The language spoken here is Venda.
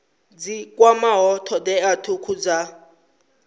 dzi kwamaho thodea thukhu dza